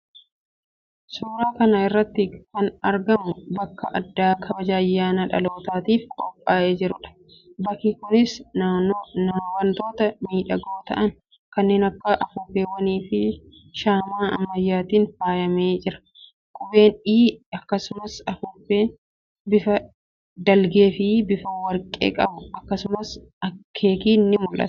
Suuraa kana irratti kan argamu bakka addaa kabaja ayyaana dhalootaatiif qophaa'ee jiruudha. Bakki kunis wantoota miidhagoo ta'an kanneen akka afuuffeewwaniifi shaamaa ammayyaatiin faayamee jira. Qubeen "E", akkasumas afuuffeen bifa dhiilgeefi bifa warqee qabu, akkasumas keekiin ni mul'ata.